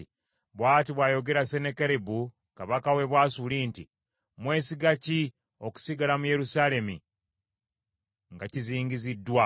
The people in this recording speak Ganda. “Bw’ati bw’ayogera Sennakeribu kabaka w’e Bwasuli nti, ‘Mwesiga ki okusigala mu Yerusaalemi nga kizingiziddwa?